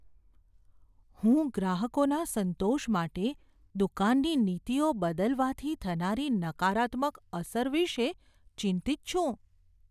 હું ગ્રાહકોના સંતોષ માટે દુકાનની નીતિઓ બદલવાથી થનારી નકારાત્મક અસર વિશે ચિંતિત છું.